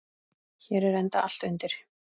Hér er enda allt undir.